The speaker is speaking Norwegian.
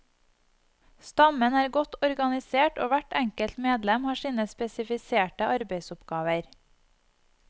Stammen er godt organisert og hvert enkelt medlem har sine spesifiserte arbeidsoppgaver.